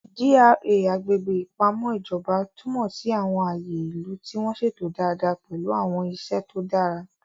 GRA (Agbègbè Ìpamọ́ Ìjọba) túmọ̀ sí àwọn ààyè ìlú tí wọ́n ṣètò dáadáa pẹ̀lú àwọn iṣẹ́ tó dára.